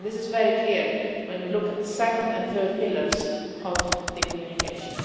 This is very clear when we look at the second and third pillars of the communication.